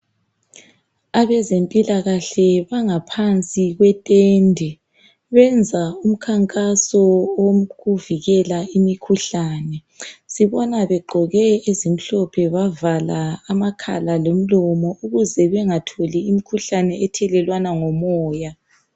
abezempilakahle bangaphansi kwetende benza umkhankaso wokuvikela imikhuhlane sibona begqoke ezimhlophe bavaa amakhala lomlomo ukuze bangatholi imkhuhlane ethelelwana ngomoya